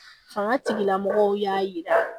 Fanga tigilamɔgɔw y'a yira